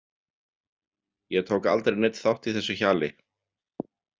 Ég tók aldrei neinn þátt í þessu hjali.